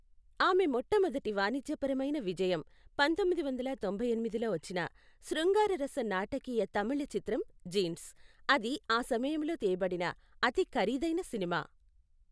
ఆమె మొట్టమొదటి వాణిజ్యపరమైన విజయం పంతొమ్మిది వందల తొంభై ఎనిమిదిలో వచ్చిన, శృంగారరస నాటకీయ తమిళ చిత్రం జీన్స్, అది ఆ సమయంలో తీయబడిన అతి ఖరీదైన సినిమా.